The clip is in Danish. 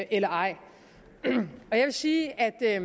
eller ej jeg vil sige at